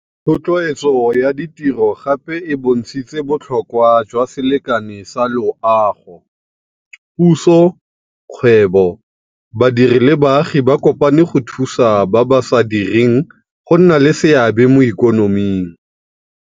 Thotloetso ya ditiro gape e bontshitse botlhokwa jwa selekane sa loago. Puso, kgwebo, badiri le baagi ba kopane go thusa ba ba sa direng go nna le seabe mo ikonoming.